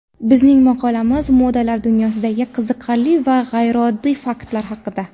Bizning maqolamiz modalar dunyosidagi qiziqarli va g‘ayrioddiy faktlar haqida.